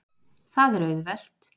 Það er auðvelt